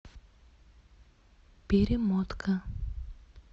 перемотка